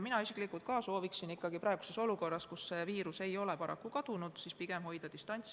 Mina isiklikult sooviksin praeguses olukorras, kus see viirus ei ole paraku veel kadunud, hoida pigem distantsi.